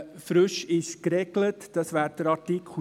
Das ist der Artikel 7 und der Artikel 10.